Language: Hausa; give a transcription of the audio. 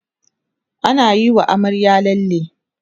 anayi wa amaryar lalle